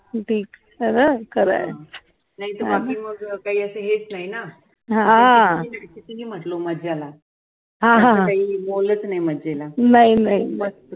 नाय तर मग आपली मग काही अस हेच नाही ना तिंनी म्हंटलो मज्जाला आता तर काही मोलच नाही मज्जेला